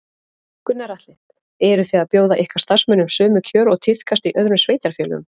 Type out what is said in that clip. Gunnar Atli: Eru þið að bjóða ykkar starfsmönnum sömu kjör og tíðkast í öðrum sveitarfélögum?